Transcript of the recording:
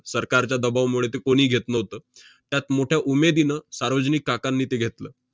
सरकारच्या दबावमुळे ते कोणी घेत नव्हतं. त्यात मोठ्या उमेदीनं सार्वजनिक काकांनी ते घेतलं.